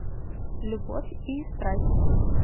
любовь и страсть